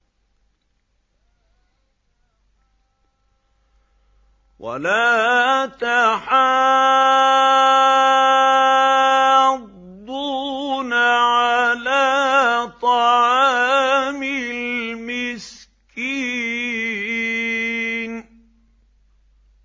وَلَا تَحَاضُّونَ عَلَىٰ طَعَامِ الْمِسْكِينِ